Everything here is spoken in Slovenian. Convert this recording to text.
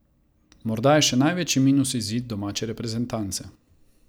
Morda je še največji minus izid domače reprezentance.